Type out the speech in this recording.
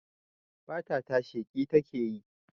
Fata ta sheƙi takeyi